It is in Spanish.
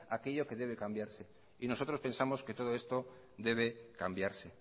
aquello que debe cambiarse y nosotros pensamos que todo esto debe cambiarse